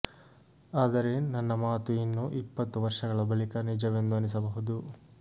ಆದರೆ ನನ್ನ ಮಾತು ಇನ್ನು ಇಪ್ಪತ್ತು ವರ್ಷಗಳ ಬಳಿಕ ನಿಜವೆಂದು ಅನಿಸಬಹುದು